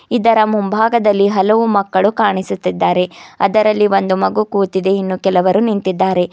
ಇದರ ಮುಂಭಾಗದಲ್ಲಿ ಹಲವು ಮಕ್ಕಳು ಕಾಣಿಸುತ್ತಿದ್ದಾರೆ ಅದರಲ್ಲಿ ಒಂದು ಮಗು ಕೂತಿದೆ ಇನ್ನು ಕೆಲವರು ನಿಂತಿದ್ದಾರೆ.